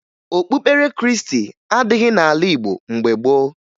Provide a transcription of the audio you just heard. Okpukpere Krịịstị adịghị n'ala Igbo mgbe gboo